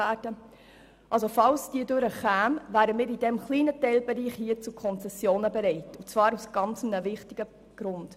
Falls diese Planungserklärung durchkommen sollte, wären wir in diesem kleinen Teilbereich zu Konzessionen bereit und zwar aus einem sehr wichtigen Grund: